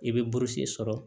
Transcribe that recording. I bɛ burusi sɔrɔ